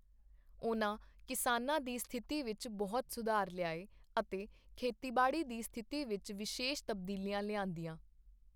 ਉਨ੍ਹਾਂ ਕਿਸਾਨਾਂ ਦੀ ਸਥਿਤੀ ਵਿੱਚ ਬਹੁਤ ਸੁਧਾਰ ਲਿਆਏ ਅਤੇ ਖੇਤੀਬਾੜੀ ਦੀ ਸਥਿਤੀ ਵਿੱਚ ਵਿਸ਼ੇਸ਼ ਤਬਦੀਲੀਆਂ ਲਿਆਂਦੀਆਂ।